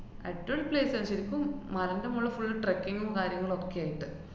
അടിപൊളി place ആ. ശരിക്കും മലേന്‍റെ മോളില് full trekking ഉം കാര്യങ്ങളൊക്കെയായിട്ട്.